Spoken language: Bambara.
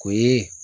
O ye